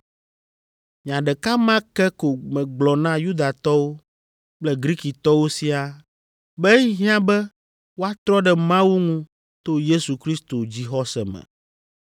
Nya ɖeka ma ke ko megblɔ na Yudatɔwo kple Grikitɔwo siaa be ehiã be woatrɔ ɖe Mawu ŋu to Yesu Kristo dzixɔse me.